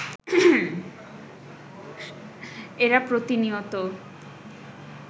এরা প্রতিনিয়ত